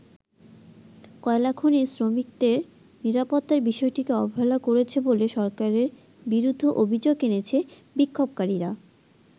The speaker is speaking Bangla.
কয়লাখনির শ্রমিকদের নিরাপত্তার বিষয়টিকে অবহেলা করেছে বলে সরকারের বিরুদ্ধে অভিযোগ এনেছে বিক্ষোভকারীরা।